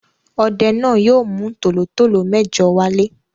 Ọdẹ náà yóò mú tòlótòtó mẹ́jọ wálé.